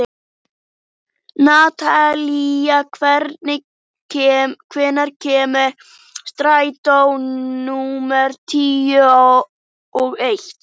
Natalía, hvenær kemur strætó númer tuttugu og eitt?